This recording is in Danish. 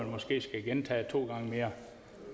måske skal gentage det to gange mere